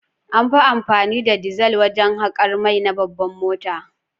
An fi amfani da dizal wajen haƙar mai na babban mota.